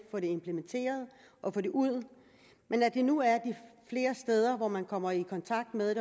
implementeret og få det ud men at der nu er flere steder hvor man kommer i kontakt med